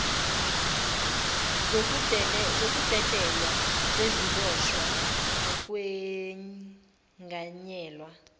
zokudedelwa kweziboshwa nokwenganyelwa